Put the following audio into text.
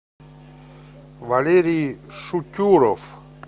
валерий шутюров